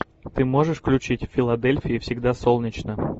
ты можешь включить в филадельфии всегда солнечно